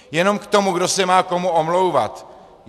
Jenom k tomu, kdo se má komu omlouvat.